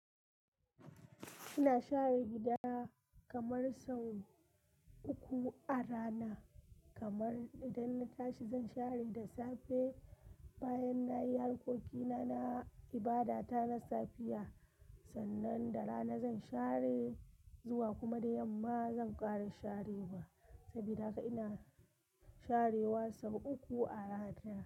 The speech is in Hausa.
Ina share gida kamar sau uku a rana. Kamar idan na tashi zan share da safe, bayan nayi harkokina na ibada ta na safiya, sannan da rana zan share zuwa kuma da yamma zan ƙara sharewa. Sabida haka ina sharewa sau uku a rana.